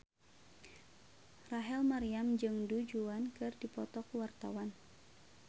Rachel Maryam jeung Du Juan keur dipoto ku wartawan